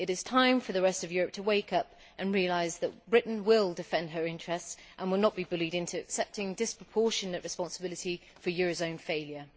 It is time for the rest of Europe to wake up and realise that Britain will defend her interests and will not be bullied into accepting disproportionate responsibility for euro area failure.